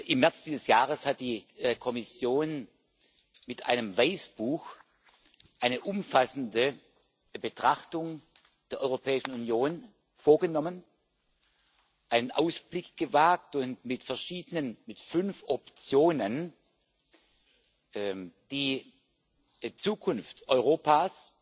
Im März dieses Jahres hat die Kommission mit einem Weißbuch eine umfassende Betrachtung der Europäischen Union vorgenommen, einen Ausblick gewagt und mit fünf Optionen die Zukunft Europas